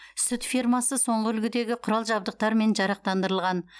сүт фермасы соңғы үлгідегі құрал жабдықтармен жарақтандырылған